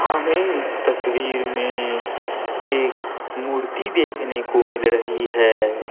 हमें इस तस्वीर में एक मूर्ति देखने को मिल रही है।